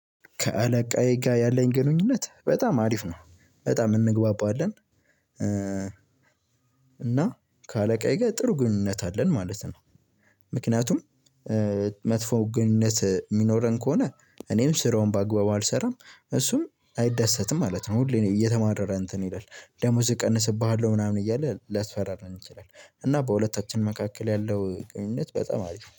ከአለቃዬ ጋር ያለኝ ግንኙነት በጣም አሪፍ ነው በጣም እንግባባለን እና ከአለቃዬ ጋር ጥሩ ግንኙነት አለን ማለት ነው። ምክንያቱም መጥፎ ግንኙነት የሚኖረን ከሆነ እኔም ስራውን በአግባቡ አልሰራም እሱም አይደሰትም ማለት ነው። ሁሌም እየተማረረ እንትን ይላል ደሞዝ እቀንስብሃለሁ ምናምን እያለ ሊያስፈራራን ይችላል። እና በሁለታችን መካከል ያለው ግንኙነት በጣም አሪፍ ነው